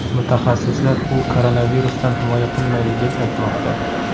Mutaxassislar u koronavirusdan himoya qilmaydi, deb aytmoqda.